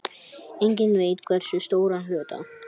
Enginn veit hversu stóran hluta.